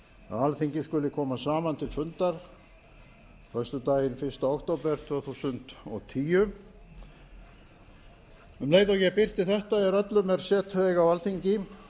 alþingi skuli koma saman til fundar föstudaginn fyrsta október tvö þúsund og tíu um leið og ég birti þetta er öllum er setu eiga á alþingi